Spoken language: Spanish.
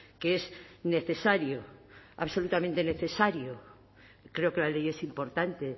que es necesario absolutamente necesario creo que la ley es importante